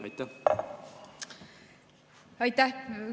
Aitäh!